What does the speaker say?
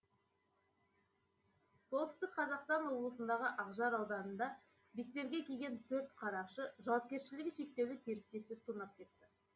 солтүстік қазақстан облысындағы ақжар ауданында бетперде киген төрт қарақшы жауапкершілігі шектеулі серіктестікті тонап кетті